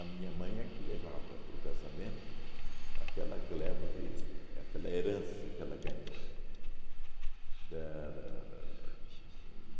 A minha mãe é que levava para o casamento aquela gleba de aquela herança que ela ganhou. Da da da da uhn